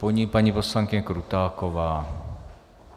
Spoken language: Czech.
Po ní paní poslankyně Krutáková.